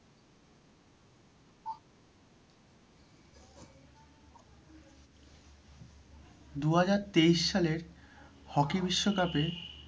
দু হাজার তেইশ সালের hockey বিশ্বকাপে,